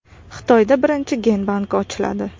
Xitoyda birinchi gen banki ochiladi.